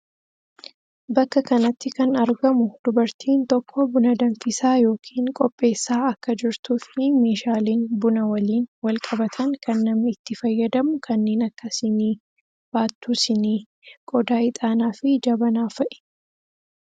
Bakka kanatti kan argamu dubartiin tokko buna danfisaa yookiin qopheessa akka jirtu fi meeshaleen buna waliin wal qabatan kan namni itti fayyadamu kanneen akka Sinii , baattuu Sinii, qodaa Ixaanaa fi Jabanaa fa'i.